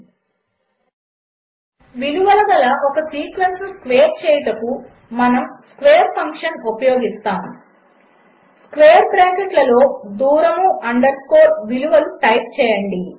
1 విలువల ఒక సీక్వెన్స్ను స్క్వేర్ చేయుటకు మనము స్క్వేర్ ఫంక్షన్ ఉపయోగిస్తాము స్క్వేర్ బ్రాకెట్లలో దూరము అండర్ స్కోర్ విలువలు టైప్ చేయండి